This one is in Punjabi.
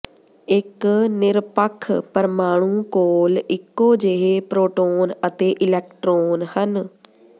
ਇਕ ਨਿਰਪੱਖ ਪਰਮਾਣੂ ਕੋਲ ਇੱਕੋ ਜਿਹੇ ਪ੍ਰੋਟੋਨ ਅਤੇ ਇਲੈਕਟ੍ਰੋਨ ਹਨ